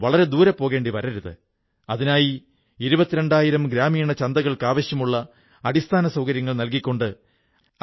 മറിച്ച് സമൂഹവികസനത്തിനായി എല്ലാ പ്രദേശത്തും എല്ലാ തലത്തിലുമുള്ള ആളുകൾ പുതിയ പുതിയ രീതികൾ നടപ്പിലാക്കുന്ന പുതിയ ഭാരതത്തിന്റെതന്നെ പ്രതീകമാണിത്